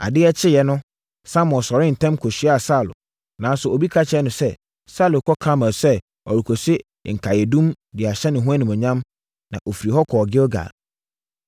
Adeɛ kyee no, Samuel sɔree ntɛm kɔhyiaa Saulo, nanso obi ka kyerɛɛ no sɛ, “Saulo kɔɔ Karmel sɛ ɔrekɔsi nkaeɛdum de ahyɛ ne ho animuonyam, na ɔfirii hɔ kɔɔ Gilgal.”